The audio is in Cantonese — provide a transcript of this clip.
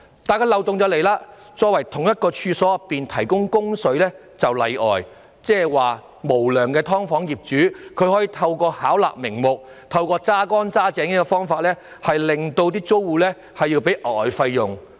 可是，漏洞卻出現了，因為同一處所的內部供水則屬例外，換言之，無良的"劏房"業主可透過巧立名目及壓榨手段，要求租戶支付額外費用。